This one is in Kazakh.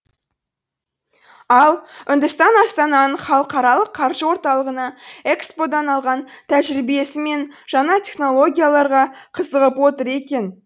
ал үндістан астананың халықаралық қаржы орталығына экспо дан алған тәжірибесі мен жаңа технологияларға қызығып отыр екен